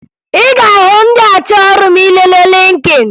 Ị ga-ahụ ndị achọ ọrụ ma ị lelee Lịnkịn